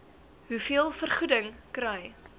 hoeveel vergoeding kry